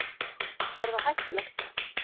Er það hættulegt?